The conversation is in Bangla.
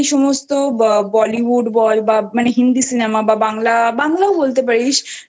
সমস্ত bollywood বল বা Hindi Cinema বা বাংলা বাংলায় বলতে পারিস